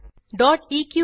eql